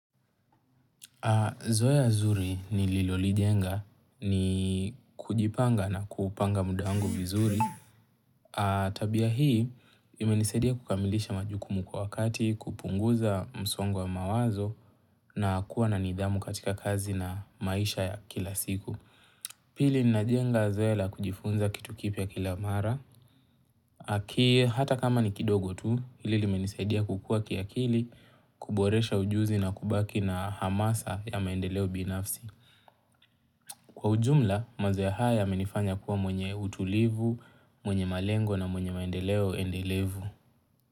Zoea zuri nililolijenga ni kujipanga na kupanga muda wangu vizuri. Tabia hii, imenisadia kukamilisha majukumu kwa wakati, kupunguza msongo wa mawazo na kuwa na nidhamu katika kazi na maisha ya kila siku. Pili ninajenga zoea la kujifunza kitu kipya kila mara. Aki hata kama ni kidogo tu, hili limenisaidia kukuwa kiakili kuboresha ujuzi na kubaki na hamasa ya maendeleo binafsi. Kwa ujumla, mazoea haya yamenifanya kuwa mwenye utulivu, mwenye malengo na mwenye maendeleo endelevu.